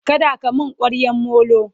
kada ka min kwaryan Molo!